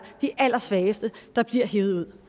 de allersvageste der bliver hevet